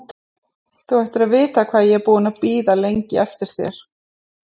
Þú ættir að vita hvað ég er búinn að bíða lengi eftir þér!